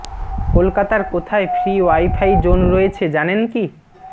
কলকাতার কোথায় free wifi zone রয়েছে জানেন কি